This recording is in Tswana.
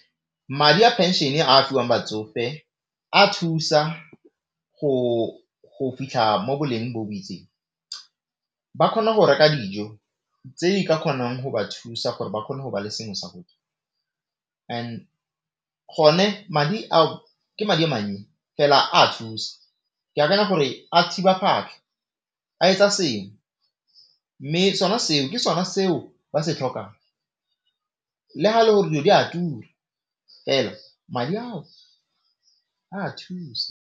Madi a pension a a fiwang batsofe a thusa go fitlha mo boleng bo bo itseng. Ba kgona go reka dijo tse di ka kgonang go ba thusa gore ba kgone go ba le sengwe sa go ne madi ao ke madi a mannye fela a thusa. Ke akanya gore a thiba phatlha, a etsa sengwe, mme sona seo ke sona seo ba se tlhokang, le gale gore dilo di a tura fela madi ao a thusa.